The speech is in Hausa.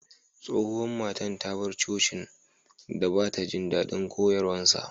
Tsohuwan matan ta bar coci'n dan ba'ta jin dadin koyarswan.